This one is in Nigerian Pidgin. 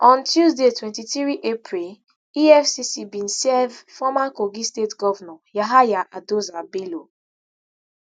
on tuesday twenty-three april efcc bin serve former kogi state govnor yahaya adoza bello